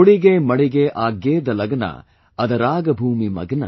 होडिगे मडिगे आग्येद लग्ना | अदराग भूमि मग्ना |